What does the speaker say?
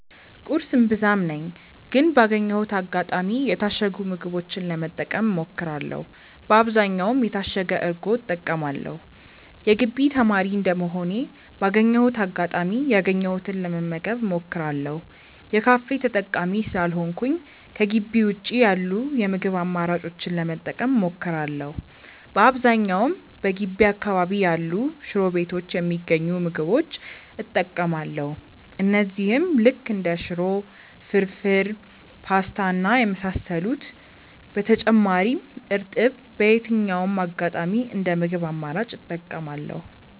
ቁርስ እምብዛም ነኝ ግን ባገኘሁት አጋጣሚ የታሸጉ ምግቦችን ለመጠቀም እሞክራለው በአብዛኛውም የታሸገ እርጎ እጠቀማለው። የግቢ ተማሪ እንደመሆኔ ባገኘሁት አጋጣሚ ያገኘሁትን ለመመገብ እሞክራለው። የካፌ ተጠቃሚ ስላልሆንኩኝ ከጊቢ ውጪ ያሉ የምግብ አማራጮችን ለመጠቀም እሞክራለው። በአብዛኛውም በገቢ አካባቢ ያሉ ሽሮ ቤቶች የሚገኙ ምግቦች እጠቀማለው እነዚህም ልክ እንደ ሽሮ፣ ፍርፉር፣ ፖስታ እና የመሳሰሉት። በተጨማሪም እርጥብ በየትኛውም አጋጣሚ እንደ ምግብ አማራጭ እጠቀማለው።